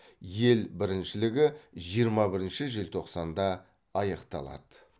ел біріншілігі жиырма бірінші желтоқсанда аяқталады